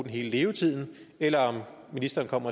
i hele levetiden eller om ministeren om